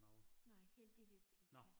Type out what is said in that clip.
Nej heldigvis ikke